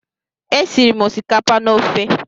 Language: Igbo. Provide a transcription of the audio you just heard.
E siri m osikapa na ofe.